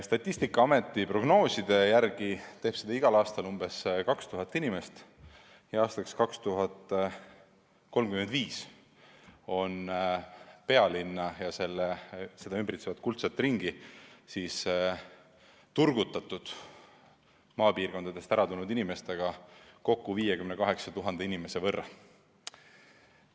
Statistikaameti prognoosi järgi teeb seda igal aastal umbes 2000 inimest ning 2035. aastaks on pealinna ja seda ümbritsevat kuldset ringi turgutatud 58 000 maapiirkondadest ära tulnud inimesega.